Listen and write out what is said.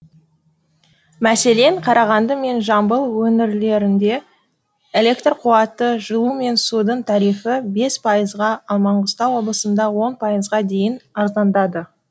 мәселен қарағанды мен жамбыл өңірлерінде электр қуаты жылу мен судың тарифі бес пайызға ал маңғыстау облысында он пайызға дейін арзандады